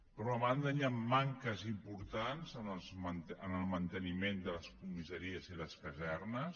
per una banda hi han manques importants en el manteniment de les comissaries i les casernes